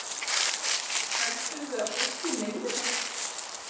Heldurðu að fólkið meini þetta?